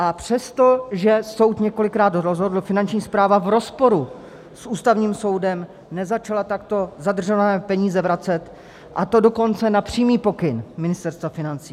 A přesto, že soud několikrát rozhodl, Finanční správa v rozporu s Ústavním soudem nezačala takto zadržované peníze vracet, a to dokonce na přímý pokyn Ministerstva financí.